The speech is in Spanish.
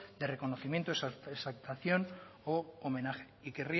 de reconocimiento exaltación u homenaje y querría